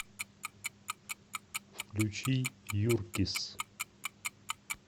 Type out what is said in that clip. включи юркисс